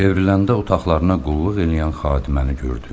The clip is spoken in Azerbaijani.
Çevriləndə otaqlarına qulluq eləyən xadiməni gördü.